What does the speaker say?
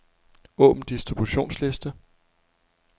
Åbn distributionsliste.